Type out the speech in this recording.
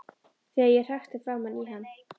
Þegar ég hrækti framan í hann.